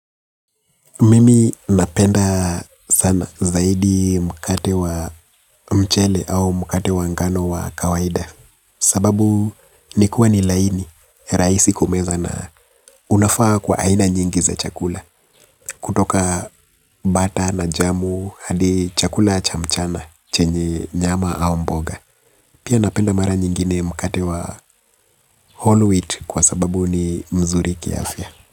Mimi napenda sana zaidi mkate wa mchele au mkate wa ngano wa kawaida. Sababu nikuwa ni laini, rahisi kumeza na unafaa kwa aina nyingi za chakula. Kutoka bata na jamu hadi chakula cha mchana chenye nyama au mboga. Pia napenda mara nyingine mkate wa whole wheat kwa sababu ni mzuri kiafya.